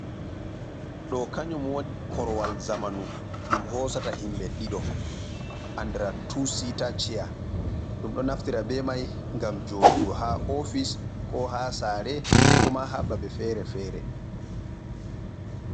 Ɗo kanyum woni korowal zamanu ɗum hosata himɓe ɗiɗo andra tusita cheya ɗum do naftira be mai ngam joɗugo ha ofis ko ha saare ko ma ha babe fere fere.